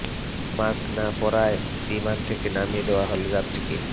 mask না পরায় বিমান থেকে নামিয়ে দেওয়া হলো যাত্রীকে